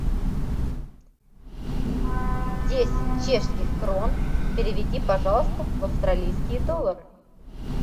десять чешских крон переведи пожалуйста в австралийские доллары